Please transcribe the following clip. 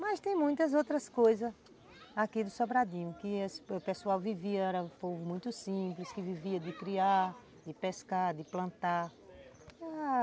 Mas tem muitas outras coisas aqui do Sobradinho, que o pessoal vivia, era um povo muito simples, que vivia de criar, de pescar, de plantar.